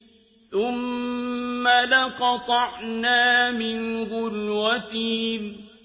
ثُمَّ لَقَطَعْنَا مِنْهُ الْوَتِينَ